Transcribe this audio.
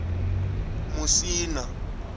musina